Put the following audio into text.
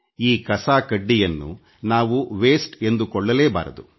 ಈ ಕಸ ಕಡ್ಡಿಯನ್ನು ನಾವು ವ್ಯರ್ಥ ಎಂದುಕೊಳ್ಳಲೇಬಾರದು